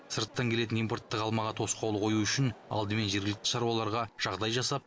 сырттан келетін импорттық алмаға тосқауыл қою үшін алдымен жергілікті шаруаларға жағдай жасап